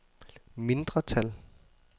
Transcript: mindretal